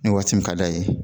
Ni waagati min ka da ye